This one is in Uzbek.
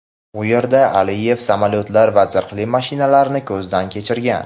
u yerda Aliyev samolyotlar va zirhli mashinalarini ko‘zdan kechirgan.